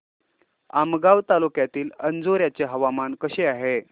आमगाव तालुक्यातील अंजोर्याचे हवामान कसे आहे